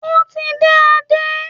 Ó ti ń dé Adé.